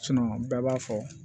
bɛɛ b'a fɔ